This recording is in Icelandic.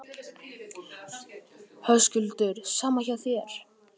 Höskuldur: Sama hjá þér?